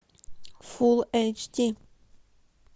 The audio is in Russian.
фул эйч ди